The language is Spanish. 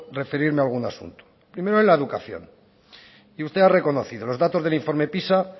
referirme a algún asunto primero en la educación y usted ha reconocido los datos del informe pisa